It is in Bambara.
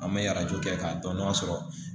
An bɛ arajo kɛ k'a dɔn n'a sɔrɔ